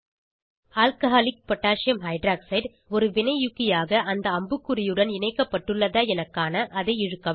alcoholic potassium hydroxide alcகோஹ் ஒரு வினையூக்கி ஆக அந்த அம்புக்குறியுடன் இணைக்கப்பட்டுள்ளதா என காண அதை இழுக்கவும்